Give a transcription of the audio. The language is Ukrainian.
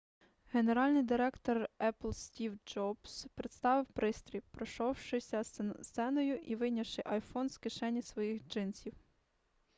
генеральний директор епл стів джобс представив пристрій пройшовшися сценою і вийнявши iphone з кишені своїх джинсів